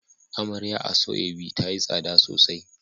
Amarya asoebi tayi tsada sosai